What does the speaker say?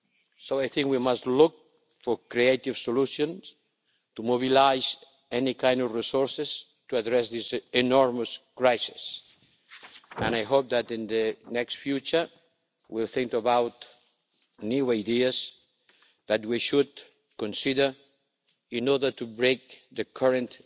So, I think we must look for creative solutions to mobilise any kind of resources to address this enormous crisis, and I hope that in the near future we will think about new ideas that we should consider in order to break the current